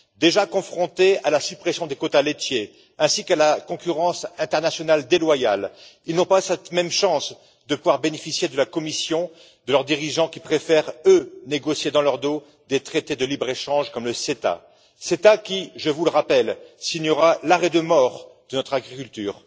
Déjà confrontés à la suppression des quotas laitiers ainsi qu'à la concurrence internationale déloyale, ils n'ont pas cette même chance de pouvoir bénéficier de la Commission, de leurs dirigeants, qui préfèrent, eux, négocier dans leur dos des traités de libre échange comme l'AECG, qui je vous le rappelle signera l'arrêt de mort de notre agriculture.